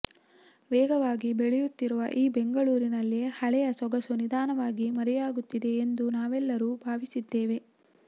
ವೇಗವಾಗಿ ಬೆಳೆಯುತ್ತಿರುವ ಈ ಬೆಂಗಳೂರಿನಲ್ಲಿ ಹಳೆಯ ಸೊಗಸು ನಿಧಾನವಾಗಿ ಮರೆಯಾಗುತ್ತಿದೆ ಎಂದು ನಾವೆಲ್ಲರೂ ಭಾವಿಸಿದ್ದೇವೆ